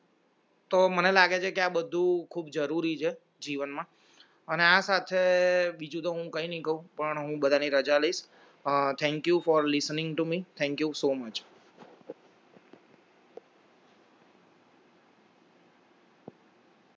તો મને લાગે છે કે આ બધું ખુબ જરૂરી છે જીવન માં અને આ સાથે બીજું તો હું કાય ની કૌ પણ હું બધાની રજા લાયસ અ thank you for listening to me thank you zoo much